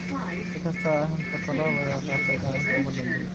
Si kastaba ha ahaatee Klopp ayaa qaatay go'aanka ugu dambeeya.